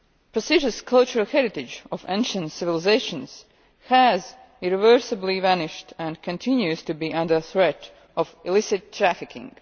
Precious cultural heritage of ancient civilisations has irreversibly vanished and continues to be under threat of illicit trafficking.